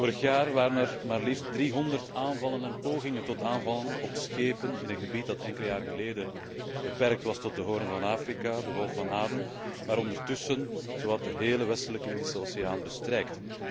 Vorig jaar waren er maar liefst 300 aanvallen en pogingen tot aanvallen op schepen in een gebied dat enkele jaren geleden beperkt was tot de Hoorn van Afrika, de Golf van Aden, maar ondertussen zowat de hele Westelijke Indische Oceaan bestrijkt.